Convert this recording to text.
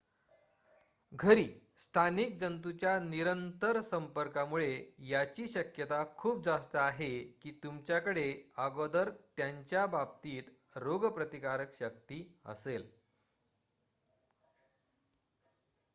घरी स्थानिक जंतूंच्या निरंतर संपर्कामुळे याची शक्यता खूप जास्त आहे की तुमच्याकडे अगोदर त्यांच्या बाबतीत रोगप्रतिकारक शक्ती असेल